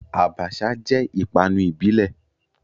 Abacha jẹ́ ìpanu ìbílẹ̀.